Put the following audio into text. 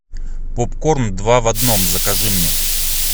попкорн два в одном закажи мне